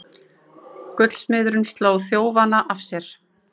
Gullsmiðurinn sló þjófana af sér